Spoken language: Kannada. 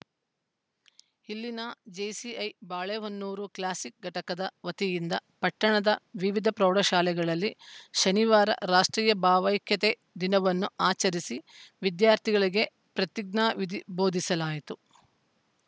ಇಲ್ಲಿನ ಜೇಸಿಐ ಬಾಳೆಹೊನ್ನೂರು ಕ್ಲಾಸಿಕ್‌ ಘಟಕದ ವತಿಯಿಂದ ಪಟ್ಟಣದ ವಿವಿಧ ಪ್ರೌಢಶಾಲೆಗಳಲ್ಲಿ ಶನಿವಾರ ರಾಷ್ಟ್ರೀಯ ಭಾವೈಕ್ಯತೆ ದಿನವನ್ನು ಆಚರಿಸಿ ವಿದ್ಯಾರ್ಥಿಗಳಿಗೆ ಪ್ರತಿಜ್ಞಾ ವಿಧಿ ಬೋಧಿಸಲಾಯಿತು